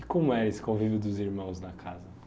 E como é esse convívio dos irmãos na casa?